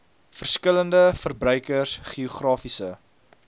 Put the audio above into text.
verskillende verbruikers geografiese